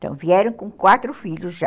Então, vieram com quatro filhos já.